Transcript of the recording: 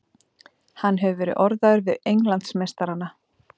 Hann hefur verið orðaður við Englandsmeistarana.